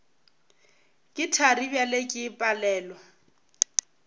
ke thari bjale ke palelwa